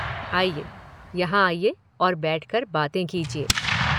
आइए, यहाँ आइये और बैठकर बातें कीजिए।